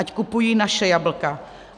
Ať kupují naše jablka.